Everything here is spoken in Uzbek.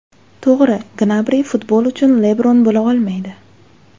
To‘g‘ri, Gnabri futbol uchun Lebron bo‘la olmaydi.